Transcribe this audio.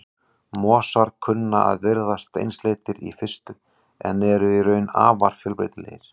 Mosar kunna að virðast einsleitir í fyrstu en eru í raun afar fjölbreytilegir.